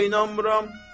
Niyə də inanmıram?